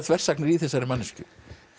þversagnir í þessari manneskju